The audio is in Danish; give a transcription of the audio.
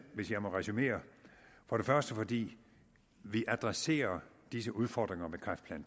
hvis jeg må resumere for det første fordi vi adresserer disse udfordringer med kræftplan